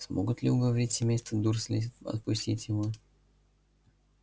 смогут ли уговорить семейство дурслей отпустить его